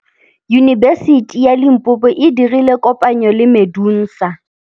Yunibesiti ya Limpopo e dirile kopanyô le MEDUNSA.